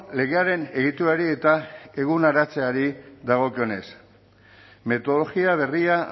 legearen egiturari eta eguneratzeari dagokionez metodologia berria